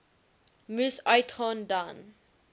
moes uitgaan dan